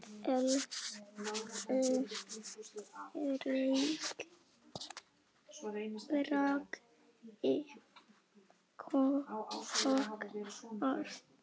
Elsku Raggi okkar.